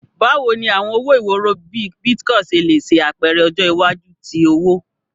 Bawo ni awọn owo iworo bii Bitcoin ṣe le ṣe apẹrẹ ọjọ iwaju ti owo?